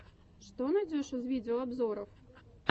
что найдешь из видеообзоров